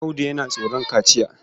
Audu yana tsoron kaciya.